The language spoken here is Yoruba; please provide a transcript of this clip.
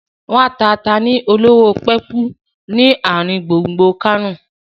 Wọ́n ń ta ata ni olówó pọ́kú ni ọjà àrin gbùngbùn Kánò